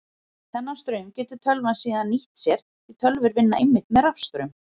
Þennan straum getur tölvan síðan nýtt sér því tölvur vinna einmitt með rafstraum.